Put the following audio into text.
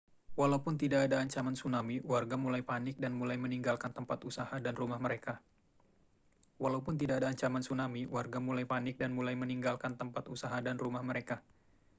walaupun tidak ada ancaman tsunami warga mulai panik dan mulai meninggalkan tempat usaha dan rumah mereka